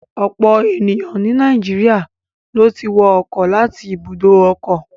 Ọ̀pọ̀ ènìyàn ni Nàìjíríà ló ti wọ ọkọ̀ láti àwọn ibùdó ọkọ̀.